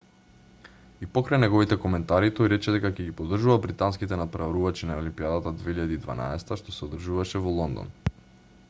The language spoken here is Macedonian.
и покрај неговите коментари тој рече дека ќе ги поддржува британските натпреварувачи на олимпијадата 2012 што се одржуваше во лондон